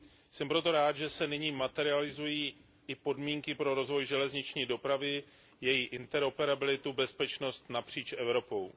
Jsem proto rád, že se nyní materializují i podmínky pro rozvoj železniční dopravy, její interoperabilitu a bezpečnost napříč Evropou.